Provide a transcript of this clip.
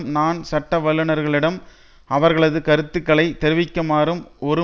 நான் சட்ட வல்லுனர்களிடம் அவர்களது கருத்துக்களை தெரிவிக்குமாறும் ஒரு